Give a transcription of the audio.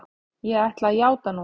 Ég ætla að játa núna.